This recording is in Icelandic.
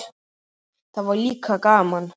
Það var líka gaman.